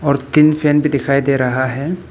तीन फैन भी दिखाई दे रहा है।